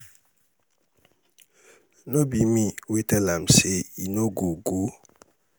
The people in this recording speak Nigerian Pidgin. no be me wey tell am say he no go um go um